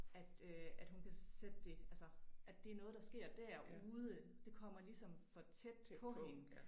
At øh at hun kan sætte det altså at det noget der sker derude. Det kommer ligesom for tæt på hende